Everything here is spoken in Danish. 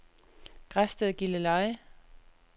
Græsted-Gilleleje